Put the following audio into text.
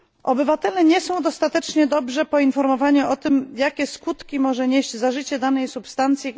Obywatele nie są dostatecznie dobrze poinformowani o tym, jakie skutki może nieść zażycie danej substancji.